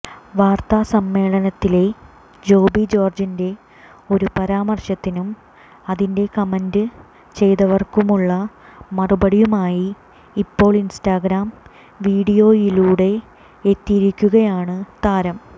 വാർത്താസമ്മേളനത്തിലെ ജോബി ജോർജിന്റെ ഒരു പരാമർശത്തിനും അതിന് കമൻറ് ചെയ്തവർക്കുമുള്ള മറുപടിയുമായി ഇപ്പോൾ ഇൻസ്റ്റഗ്രാം വീഡിയോയിലൂടെ എത്തിയിരിക്കുകയാണ് താരം